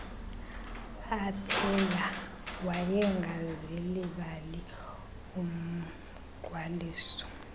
aphela wayengazilibali umgqwaliso